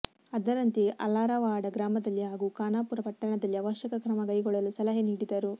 ಅದರಂತೆ ಅಲಾರವಾಡ ಗ್ರಾಮದಲ್ಲಿ ಹಾಗೂ ಖಾನಾಪೂರ ಪಟ್ಟಣದಲ್ಲಿ ಅವಶ್ಯಕ ಕ್ರಮಕೈಗೊಳ್ಳಲು ಸಲಹೆ ನೀಡಿದರು